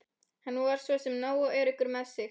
Hann var svo sem nógu öruggur með sig.